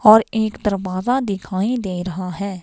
और एक दरवाजा दिखाई दे रहा है.